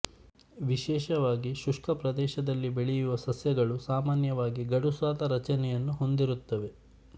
ವಿಶೇಷವಾಗಿ ಶುಷ್ಕ ಪ್ರದೇಶದಲ್ಲಿ ಬೆಳೆಯುವ ಸಸ್ಯಗಳು ಸಾಮಾನ್ಯವಾಗಿ ಗಡುಸಾದ ರಚನೆಯನ್ನು ಹೊಂದಿರುತ್ತವೆ